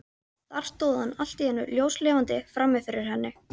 Þá stóð hann allt í einu ljóslifandi frammi fyrir henni.